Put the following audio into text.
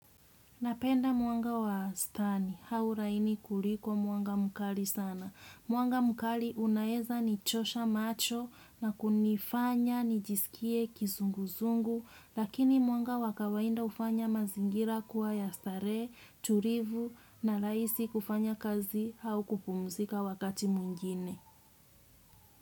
Napenda mwanga wa stani, hauraini kuliko mwanga mkali sana. Mwanga mkali unaeza nichosha macho na kunifanya, nijisikie kizunguzungu, lakini mwanga wakawaida ufanya mazingira kuwa ya starehe, tulivu na rahisi kufanya kazi au kupumzika wakati mwigine.